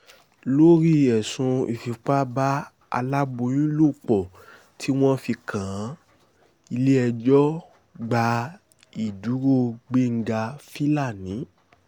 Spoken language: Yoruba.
lórí ẹ̀sùn ìfipá bá aláboyún lò pọ̀ tí wọ́n fi kàn án ilé-ẹjọ́ gba ìdúró gbẹ́ngà filani